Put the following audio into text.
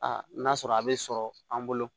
Aa n'a sɔrɔ a bɛ sɔrɔ an bolo